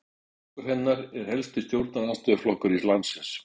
Flokkur hennar er helsti stjórnarandstöðuflokkur landsins